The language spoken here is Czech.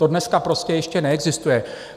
To dneska prostě ještě neexistuje.